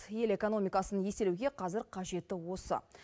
ел экономикасын еселеуге қазір қажеті осы